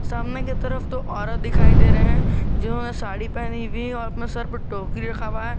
सामने की तरफ दिखाई दे रहे हैं जो वे साड़ी पहनी है और अपने सर पे टोपी रखा हुआ है।